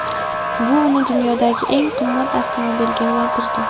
Bu uni dunyodagi eng qimmat avtomobilga aylantirdi.